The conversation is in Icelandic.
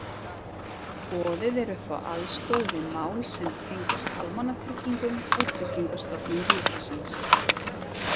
Boðið er upp á aðstoð við mál sem tengjast almannatryggingum og Tryggingastofnun ríkisins.